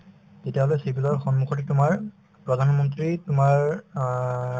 তেতিয়াহলে civil ৰ সন্মুখতে তোমাৰ প্ৰধানমন্ত্ৰী তোমাৰ অ